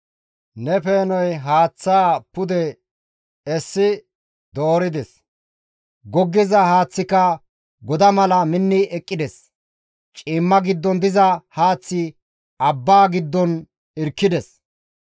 Ne peenoy haaththaa pude essi doorides. Goggiza haaththika goda mala minni eqqides; ciimma giddon diza haaththi abbaa giddon irkkides.